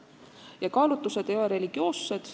Ja kaalutlused ei ole religioossed.